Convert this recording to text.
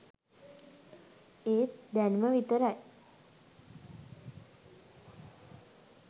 ඒත් දැනුම විතරයි